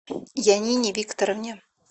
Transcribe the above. янине викторовне